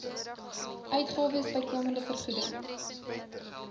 uitgawes bykomende vergoeding